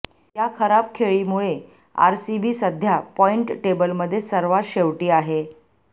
या खराब खेळीमुळे आरसीबी सध्या पॉईंट टेबलमध्ये सर्वात शेवटी आहे